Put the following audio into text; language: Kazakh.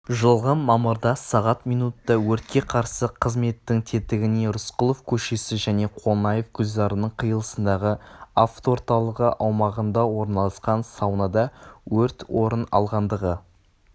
жылғы мамырда сағат минутта өртке қарсы қызметтің тетігіне рысқұлов көшесі және қонаев гүлзарының қиылысындағы авторталығы аумағында орналасқан саунада өрт орын алғандығы